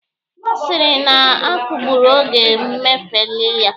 Ọ sịrị na a kagburu oge mfeli ha